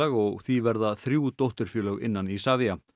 og því verða þrjú dótturfélög innan Isavia